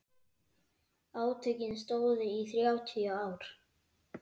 Átökin stóðu í þrjátíu ár.